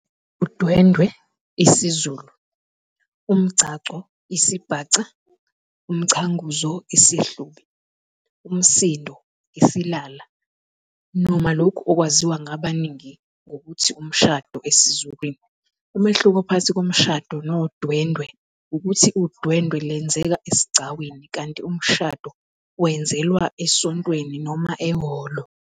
UDwendwe, isiZulu, uMgcagco, isiBhaca, uMchanguzo, IsiHlubi, Umsindo, IsiLala, noma lokhu okwaziwa ngabaningi ngokuthi umshado esizulwini. Umehluko phakathi komshado nodwendwe ukuthi udwendwe lwenzeka esigcawini kanti umshado wenzelwa esontweni noma ehholo.